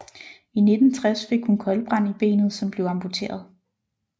I 1960 fik hun koldbrand i benet som blev amputeret